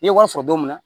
N ye wari sɔrɔ don min na